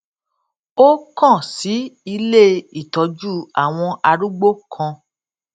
ó kàn sí ilé ìtójú àwọn arúgbó kan